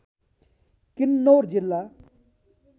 किन्नौर जिल्ला